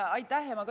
Aitäh!